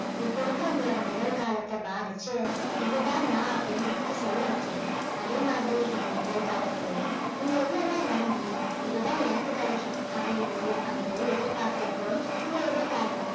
இப்ப இருக்கிற உங்களோட நிகழ்காலத்தை பாதிச்சு இது தான் நான் அப்படின்னு உங்கள சொல்ல வச்சிருக்கு அதே மாதிரி இந்த நிகழ் காலத்திலையும் நீங்க எவ்ளோ தான் என்னால முடியும் இது தான் எனக்கு கிடைக்கும் அப்படின்னு முடிவு பண்ணிட்டு எதிர் பார்க்கிறப்போ உங்க எதிர்காலமும்